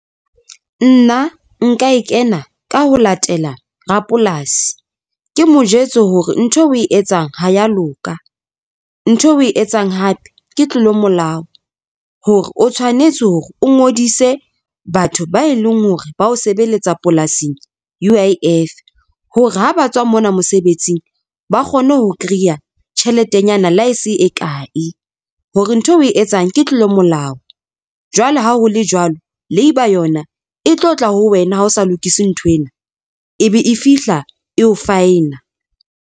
Nna nka e kena ka ho latela rapolasi. Ke mo jwetse hore ntho oe etsang ha ya loka ntho oe etsang hape ke tlolo ya molao hore o tshwanetse hore o ngodise batho ba e leng hore ba o sebeletsa polasing U_I_F hore ha ba tswa mona mosebetsing, ba kgone ho kreya tjheletenyana le ha e se e kae hore ntho oe etsang ke tlolo molao jwale ha ho le jwalo, labour yona e tlo tla ho wena ha o sa lokise nthwena e be e fihla e o faena.